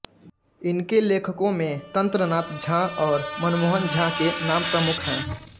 इनके लेखकों में तंत्रनाथ झा और हरिमोहन झा के नाम प्रमुख हैं